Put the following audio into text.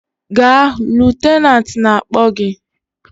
Gaa! Lutenat na-akpọ gị!